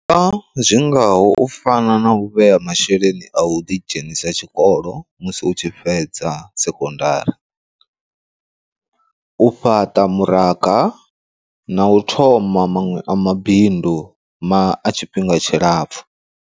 Zwingaho u fana na u vhea masheleni a u ḓidzhenisa tshikolo musi utshi fhedza sekondari, u fhaṱa muranga na u thoma maṅwe a mabindu ma a tshifhinga tshilapfhu.